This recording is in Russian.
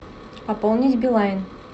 пополнить билайн